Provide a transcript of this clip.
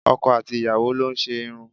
Ọkọ àti ìyàwó lo n ṣe irun